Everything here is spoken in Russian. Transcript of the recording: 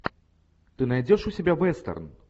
ты найдешь у себя вестерн